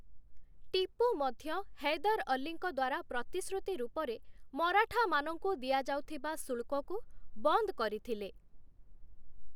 ଟିପୁ ମଧ୍ୟ ହୈଦର ଅଲ୍ଲୀଙ୍କ ଦ୍ୱାରା ପ୍ରତିଶୃତି ରୂପରେ ମରାଠାମାନଙ୍କୁ ଦିଆଯାଉଥିବା ଶୁଳ୍କକୁ ବନ୍ଦ କରିଥିଲେ ।